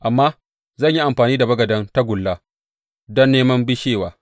Amma zan yi amfani da bagaden tagulla don neman bishewa.